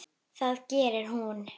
Það gerir hún.